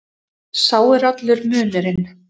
Sá er allur munurinn.